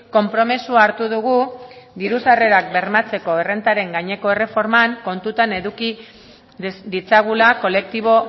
konpromisoa hartu dugu diru sarrerak bermatzeko errentaren gaineko erreforman kontutan eduki ditzagula kolektibo